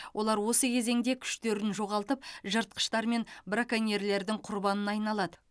олар осы кезеңде күштерін жоғалтып жыртқыштар мен браконьерлердің құрбанына айналады